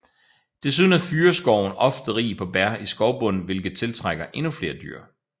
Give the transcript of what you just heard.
Desuden er fyrreskoven ofte rig på bær i skovbunden hvilket tiltrækker endnu flere dyr